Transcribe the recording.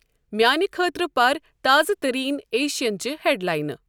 میانِہ خٲطرٕ پَر تازٕ ترین ایشِیَن چِہ ہیڈلاینہٕ ۔